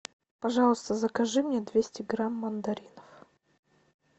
пожалуйста закажи мне двести грамм мандаринов